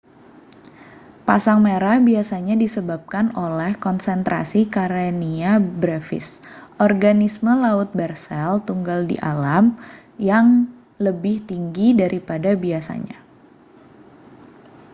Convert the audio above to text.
pasang merah biasanya disebabkan oleh konsentrasi karenia brevis organisme laut bersel tunggal di alam yang lebih tinggi daripada biasanya